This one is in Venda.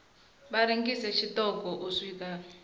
vha rengise tshiṱoko u swika